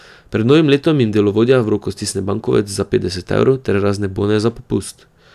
Pred novim letom jim delovodja v roko stisne bankovec za petdeset evrov ter razne bone za popust.